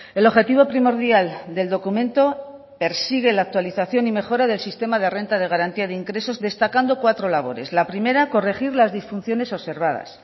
el objetivo primordial del documento persigue la actualización y mejora del sistema de renta de garantía de ingresos destacando cuatro labores la primera corregir las disfunciones observadas